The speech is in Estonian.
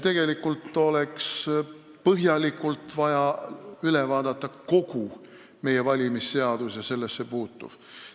Meil oleks vaja põhjalikult üle vaadata meie valimisseadused ja kõik nendesse puutuv.